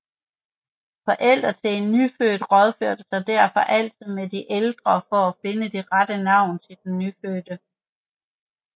Forældre til en nyfødt rådførte sig derfor altid med de ældre for at finde det rette navn til den nyfødte